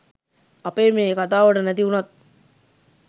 අපේ මේ කතාවට නැති වුනත්